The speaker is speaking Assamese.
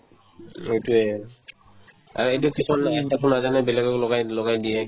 এইটোয়ে আৰু এতিয়া কিছুমানে তো নাজানে বেলেগক লগাই লগাই দিয়ে